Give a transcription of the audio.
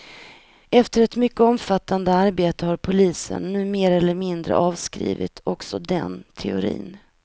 Efter ett mycket omfattande arbete har polisen nu mer eller mindre avskrivit också den teorin.